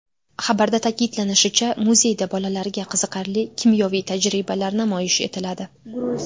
Xabarda ta’kidlanishicha, muzeyda bolalarga qiziqarli kimyoviy tajribalar namoyish etiladi.